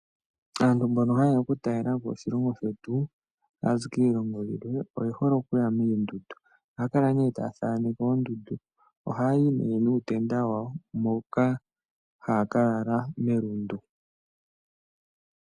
Aantu mbono ha yeya oku talelapo oshilongo shetu tayazi kiilongo yilwe, oye hole okuya moondundu. Ohaya kala nee taya thaaneke oondundu, ohaya yi nee nuutenda wawo, moka haya ka lala melundu.